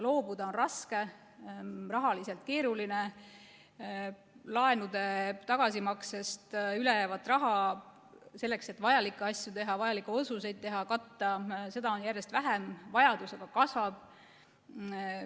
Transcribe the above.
Loobuda on raske, rahaliselt on keeruline, laenude tagasimaksest üle jäävat raha selleks, et vajalikke asju katta ja vajalikke otsuseid teha, on järjest vähem, vajadus aga kasvab.